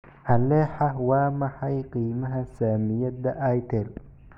Alexa waa maxay qiimaha saamiyada itel